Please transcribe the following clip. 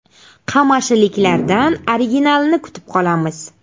Qamashiliklardan originalini kutib qolamiz.